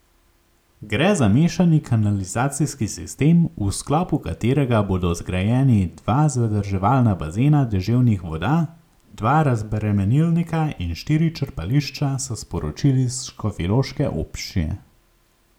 Gre za mešani kanalizacijski sistem, v sklopu katerega bodo zgrajeni dva zadrževalna bazena deževnih voda, dva razbremenilnika in štiri črpališča, so sporočili s škofjeloške občine.